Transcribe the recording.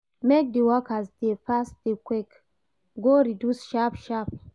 Make di workers dey fast dis queue go reduce sharp-sharp.